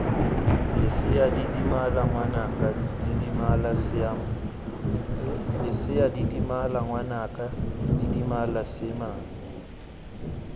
lesea didimala ngwanaka didimala simane